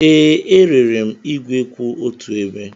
Ee, erere m igwe kwụ otu ebe.